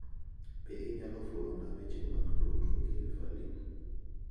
Be inyalo fulona weche mag tudruok ewi Falim?